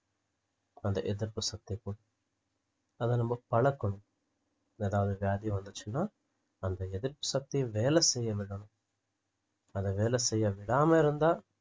அந்த எதிர்ப்புசக்திக்கும் அதை நம்ப பழக்கணும் எதாவது வியாதி வந்துச்சுன்னா அந்த எதிர்ப்புசக்தி வேலைசெய்யவிடணும் அதை வேலை செய்ய விடாம இருந்தா